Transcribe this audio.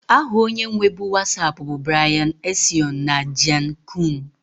Aha onye nwebu Wasapu bu Brian Acion na Jan koum